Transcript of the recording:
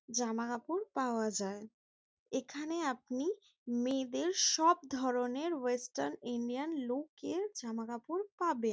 জামা কাপড় পাওয়া যায়। এখানে আপনি মেয়েদের সব ধরনের ওয়েস্টার্ন ইন্ডিয়ান লুক -এর জামা কাপড় পাবেন।